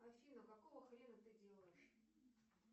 афина какого хрена ты делаешь